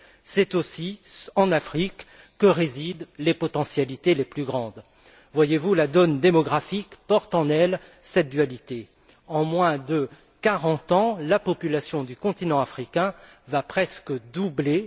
C'est aussi en Afrique que résident les potentialités les plus grandes. Voyez vous, la donne démographique porte en elle cette dualité. En moins de 40 ans, la population du continent africain va presque doubler.